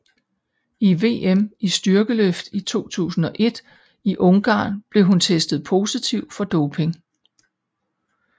Under VM i styrkeløft i 2001 i Ungarn blev hun testet positiv for doping